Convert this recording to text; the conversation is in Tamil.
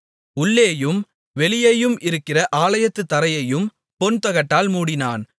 உள்ளேயும் வெளியேயும் இருக்கிற ஆலயத்து தரையையும் பொன்தகட்டால் மூடினான்